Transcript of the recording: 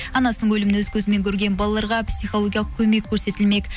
анасының өлімін өз көзімен көрген балаларға психологиялық көмек көрсетілмек